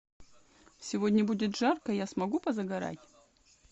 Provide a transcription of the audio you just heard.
сегодня будет жарко я смогу позагорать